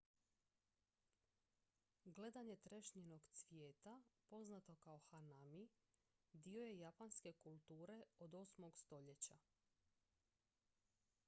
gledanje trešnjinog cvijeta poznato kao hanami dio je japanske kulture od 8. stoljeća